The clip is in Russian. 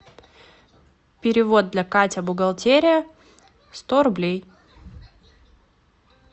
перевод для катя бухгалтерия сто рублей